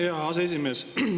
Aitäh, hea aseesimees!